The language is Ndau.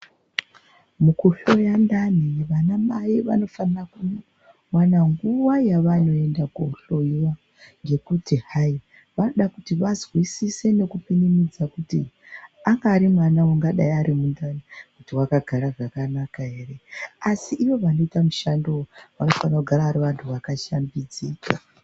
Mukuhloya ndani vanamai vanofana kuwana nguva yavanoenda kunohloiwa. Ngekuti hai vanodakuti vazwisise nekupinimidza kuti anga ari mwana angadai ari mundani ,wakagara zvakanaka ere, asi ivo vanoita mushando uyu vanofana kugara vari vantu vakashambidzika.